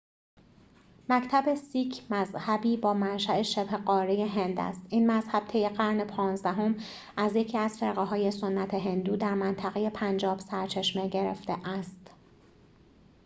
مکتب سیک مذهبی با منشأ شبه‌قاره هند است این مذهب طی قرن پانزدهم از یکی از فرقه‌های سنت هندو در منطقه پنجاب سرچشمه گرفته است